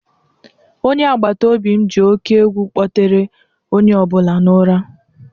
Onye agbata obi m ji oke egwu kpọtere onye ọ bụla n'ụra a